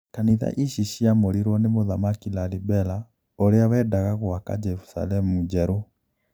Kanitha ici ciamũriruo ni Mũthamaki Lalibela ũria wendaga gũaka Jerusalemu njerũ